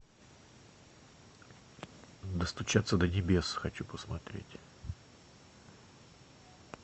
достучаться до небес хочу посмотреть